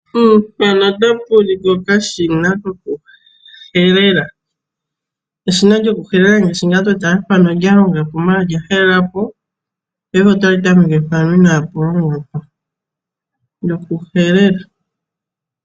Mpano otapu ulikwa okashina kokuhelela, eshina lyoku helela ngaashi tali tameke mpoka inaapa longwa noku helela.